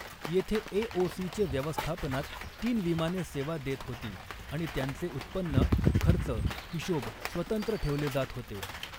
येथे एओसीचे व्यवस्थापनात तीन विमाने सेवा देत होती आणि त्यांचे उत्पन्न खर्च हिशोब स्वतंत्र ठेवले जात होते.